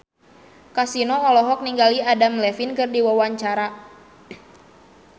Kasino olohok ningali Adam Levine keur diwawancara